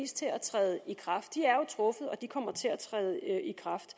til at træde i kraft de er jo truffet og de kommer til at træde i kraft